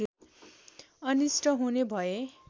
अनिष्ट हुने भय